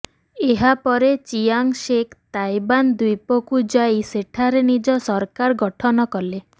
ଏହା ପରେ Chiang Shek Taiwan ଦ୍ୱୀପକୁ ଯାଇ ସେଠାରେ ନିଜ ସରକାର ଗଠନ କଲେ